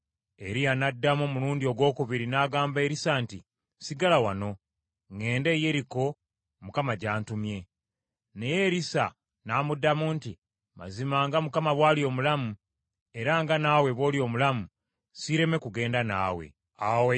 Eriya n’addamu omulundi ogwokubiri n’agamba Erisa nti, “Sigala wano, ŋŋende e Yeriko Mukama gy’antumye.” Naye Erisa n’amuddamu nti, “Mazima nga Mukama bw’ali omulamu, era nga nawe bw’oli omulamu, siireme kugenda naawe.” Awo ne bagenda bonna e Yeriko.